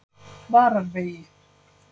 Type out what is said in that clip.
Vararvegi